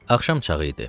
Axşam çağı idi.